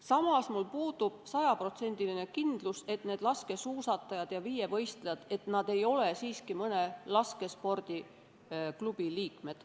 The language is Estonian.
Samas puudub mul sajaprotsendiline kindlus, et need laskesuusatajad ja viievõistlejad ei ole siiski mõne laskespordiklubi liikmed.